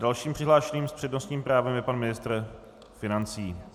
Dalším přihlášeným s přednostním právem je pan ministr financí.